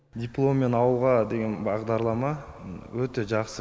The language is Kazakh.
дипломмен ауылға деген бағдарлама өте жақсы